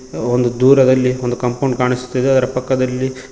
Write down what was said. ದೂರದಲ್ಲಿ ಒಂದು ಕಾಂಪೌಂಡ್ ಕಾಣಿಸುತ್ತಿದೆ ಅದರ ಪಕ್ಕದಲ್ಲಿ--